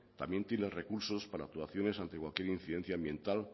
también tiene recursos para actuaciones ante cualquier incidencia ambiental